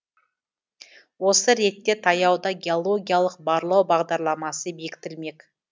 осы ретте таяуда геологиялық барлау бағдарламасы бекітілмек